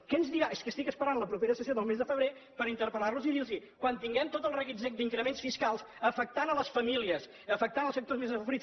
què ens dirà és que estic esperant la propera sessió del mes de febrer per interpellar los i dir los quan tinguem tot el reguitzell d’increments fiscals afectant les famílies afectant els sectors més desafavorits